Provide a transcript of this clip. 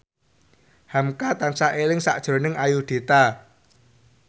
hamka tansah eling sakjroning Ayudhita